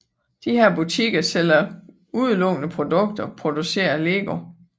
Disse butikker sælger udelukkende produkter produceret af LEGO